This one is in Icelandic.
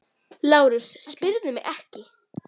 LÁRUS: Spyrðu mig ekki!